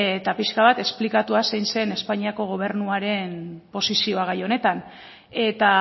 eta pixka bat esplikatuz zein zen espainiako gobernuaren posizioa gai honetan eta